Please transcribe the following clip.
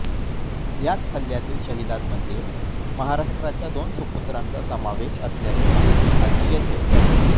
याच हल्यातील शहिदांमध्ये महाराष्ट्राच्या दोन सुपुत्रांचा समावेश असल्याची माहिती हाती येतेय